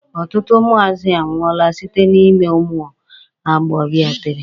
Ọtụtụ ụmụazị anwụọla site na ime ụmụ agbọbịa tere.